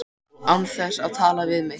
Og án þess að tala við mig!